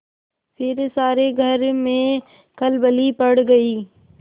फिर सारे घर में खलबली पड़ गयी